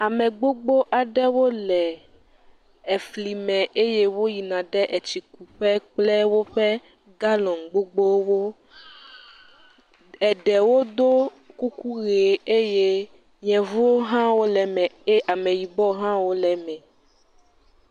Ame gbogbo aɖewo le eflime eye woyina ɖe etsikuƒe kple woƒe galɔ̃nu gbogbowo. Eɖewo do kuku ʋee. Eye Yevuwo hã wole eme eye Ameyibɔwo hã wo le eme.